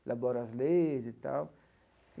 elaboro as leis e tal.